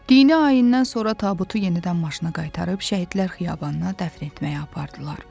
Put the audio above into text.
Dini ayindən sonra tabutu yenidən maşına qaytarıb Şəhidlər xiyabanına dəfn etməyə apardılar.